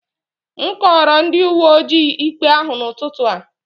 M kọọrọ ndị uwe ojii ikpe ahụ n'ụtụtụ a